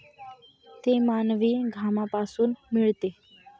ते मानवी घामापासून मिळते.